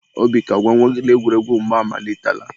Obika, gwa nwa gị na egwuregwu mgba amalitela.